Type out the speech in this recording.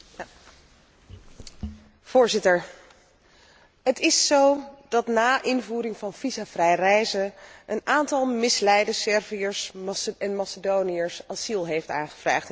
Voorzitter, het is zo dat na invoering van visumvrij reizen een aantal misleide Serviërs en Macedoniërs asiel heeft aangevraagd in België, Zweden en Duitsland.